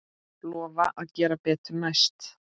Lofa að gera betur næst.